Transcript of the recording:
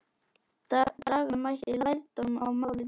Draga mætti lærdóm af málinu.